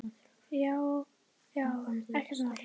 Já já, ekkert mál.